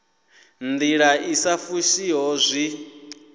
ndila i sa fushiho zwi